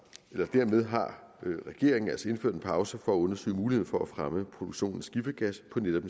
dermed har regeringen altså indført en pause for at undersøge muligheden for at fremme produktionen af skifergas på netop